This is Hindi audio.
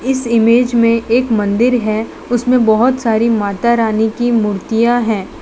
इस इमेज में एक मंदिर है उसमें बहोत सारी माता रानी की मूर्तियां हैं।